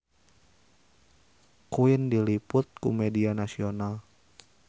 Queen diliput ku media nasional